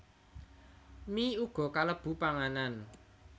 Mie uga kalebu panganan